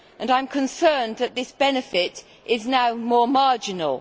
I am concerned that this benefit is now more marginal.